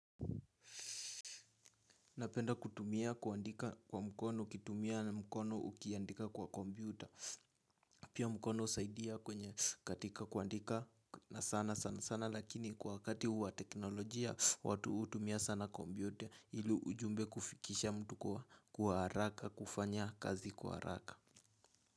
Napenda kutumia kuandika kwa mkono, ukitumia na mkono ukiandika kwa kompyuta pia mkono usaidia kwenye katika kuandika na sana sana sana lakini kwa wakati wa teknolojia watu hutumia sana kompyuta ili ujumbe kufikisha mtu kwa haraka kufanya kazi kwa haraka.